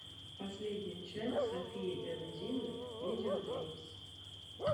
последняя часть софии энд димы видео геймс